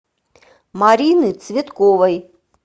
марины цветковой